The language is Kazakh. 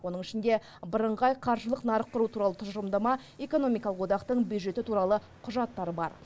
оның ішінде бірыңғай қаржылық нарық құру туралы тұжырымдама экономикалық одақтың бюджеті туралы құжаттар бар